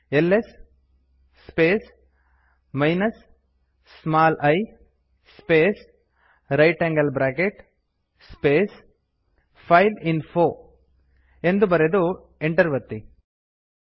ಅಂದರೆ LS space minus small i space ಜಿಟಿಯ space file info ಎಂದು ಬರೆದು ಎಂಟ್ರ್ ಒತ್ತಿ